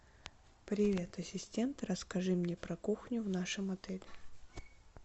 привет ассистент расскажи мне про кухню в нашем отеле